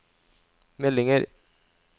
meldinger